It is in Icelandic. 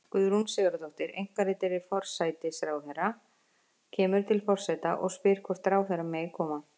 Guðrún Sigurðardóttir, einkaritari forsætisráðherra, kemur til forseta og spyr hvort ráðherra megi koma.